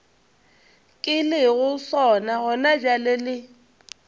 ke lego sona gonabjale le